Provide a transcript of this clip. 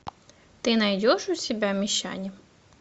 ты найдешь у себя мещане